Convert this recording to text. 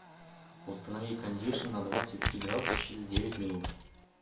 установи кондишн на двадцать три градуса через девять минут